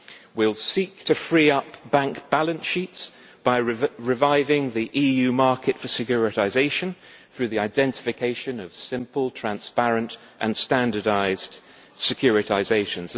we will seek to free up bank balance sheets by reviving the EU market for securitisation through the identification of simple, transparent and standardised securitisations.